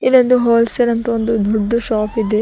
ಇದೊಂದು wholesale ಅಂತ ಒಂದು ದೊಡ್ದು ಶಾಪ್ ಇದೆ.